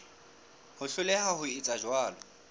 ho hloleha ho etsa jwalo